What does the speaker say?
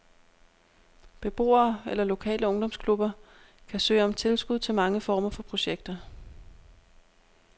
Beboere eller lokale ungdomsklubber kan søge om tilskud til mange former for projekter.